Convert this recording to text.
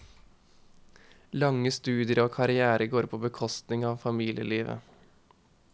Lange studier og karrière går på bekostning av familielivet.